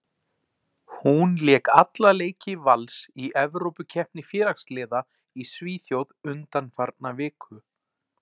Hún lék alla leiki Vals í Evrópukeppni félagsliða í Svíþjóð undanfarna viku.